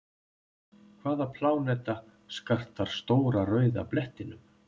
Hvaða pláneta skartar Stóra rauða blettinum?